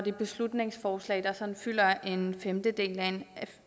et beslutningsforslag som fylder en femtedel af en